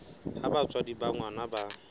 ha batswadi ba ngwana ba